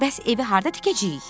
Bəs evi harda tikəcəyik?